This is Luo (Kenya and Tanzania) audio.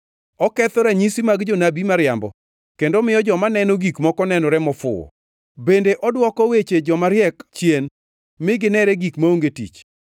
oketho ranyisi mag jonabi mariambo kendo miyo joma neno gik moko nenore mofuwo, bende odwoko weche jomariek chien mi ginere gik maonge tich,